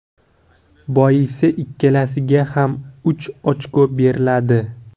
Boisi ikkalasiga ham uch ochko beriladi.